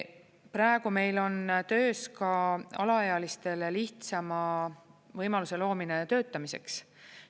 Praegu meil on töös ka alaealistele lihtsama võimaluse loomine töötamiseks.